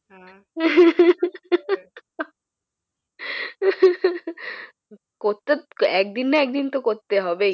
করতে একদিন না একদিন তো করতে হবেই